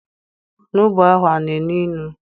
Onugbu ahụ ana enu inu?